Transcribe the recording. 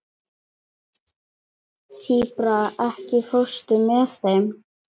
Tíbrá, ekki fórstu með þeim?